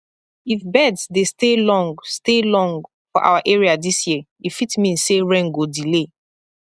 if birds dey stay long stay long for our area this year e fit mean say rain go delay